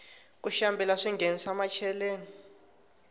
ku xambila swinghenisa macheleni